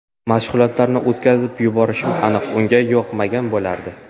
Mashg‘ulotlarni o‘tkazib yuborishim aniq unga yoqmagan bo‘lardi.